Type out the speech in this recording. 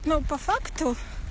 но по факту